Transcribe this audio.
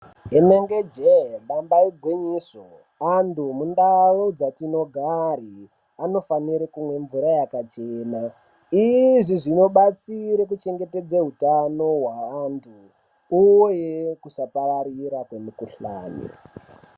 Inenge jeee damba igwinyiso. Antu mundau dzatinogare anofanire kumwa mvura yakachena. Izvi zvinobatsire kuchengetedze utano hwaantu uye kusapararira kwemukuhlani.